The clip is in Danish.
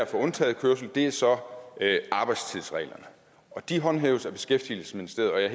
for undtaget kørsel er så arbejdstidsreglerne de håndhæves af beskæftigelsesministeriet og jeg